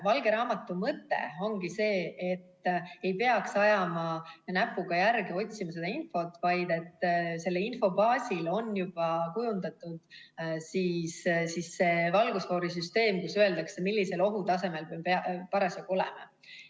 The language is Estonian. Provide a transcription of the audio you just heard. Valge raamatu mõte ongi selles, et ei peaks ajama näpuga järge ja otsima infot, vaid selle info baasil on juba kujundatud valgusfoorisüsteem, kus öeldakse, millisel ohutasemel me parasjagu oleme.